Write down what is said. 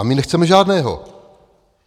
A my nechceme žádného.